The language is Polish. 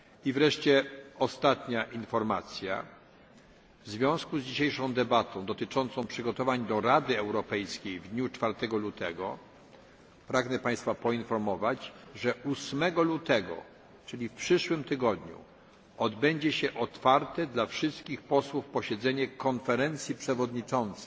Wreszcie ostania z informacji w związku z dzisiejszą debatą dotyczącą przygotowań do Rady Europejskiej w dniu 4 lutego pragnę Państwa poinformować, że 8 lutego, czyli w przyszłym tygodniu, odbędzie się otwarte dla wszystkich posłów posiedzenie Konferencji Przewodniczących.